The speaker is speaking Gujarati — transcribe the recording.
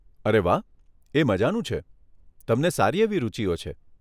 અરે વાહ, એ મઝાનું છે, તમને સારી એવી રૂચિઓ છે.